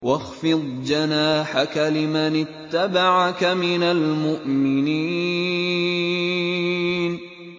وَاخْفِضْ جَنَاحَكَ لِمَنِ اتَّبَعَكَ مِنَ الْمُؤْمِنِينَ